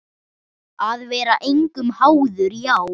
Að vera engum háður, já.